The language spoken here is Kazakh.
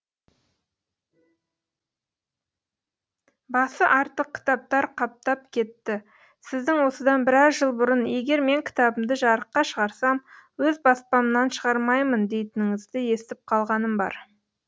басы артық кітаптар қаптап кетті сіздің осыдан біраз жыл бұрын егер мен кітабымды жарыққа шығарсам өз баспамнан шығармаймын дейтініңізді естіп қалғаным бар